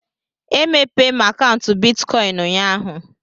E mépéé m akaụntu bịtkọin ụnyaahụ